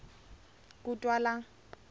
kutwala